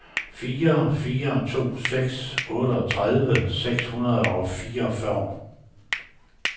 fire fire to seks otteogtredive seks hundrede og fireogfyrre